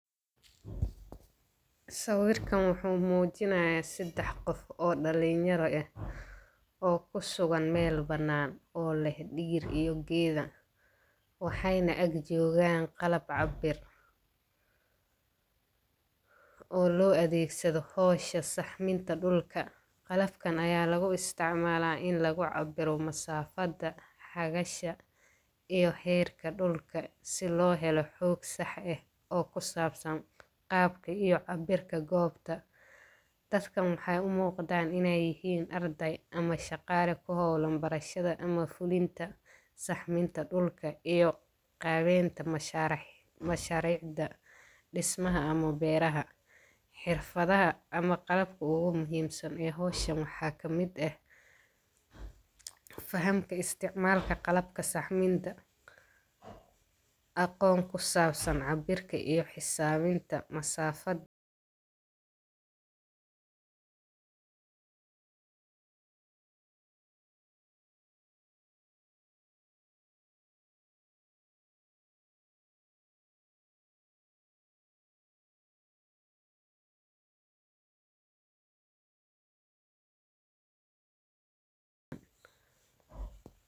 Sawirka wuxu mujinaya sadax gof oo dalinyaro eh, oo kusugan mel banan oo leex diiriyo geeda, waxayna ak jogan qalaab cabir, oo loadegsado xowsha saxminka dulka, qalaabkan waxa laguisticmala in lagacabiro masafada ,hagasha iyo herka dulka si loxelo xooq sah eh oo kusabsan qabka iyo cabirka gobta, dadka waxay umuqatan inay yixii ardey ama shagad kuxowlan wax barasha in lafulinta saxbinta dulka, iyo gebeynta masharicda dismaha ama bereynta, xirfada ama qebsan ee xowshaan waxa kamid ah xafamka isticmalka saxminta aqoon kusabsan cabirka iyo xisabinta masafad.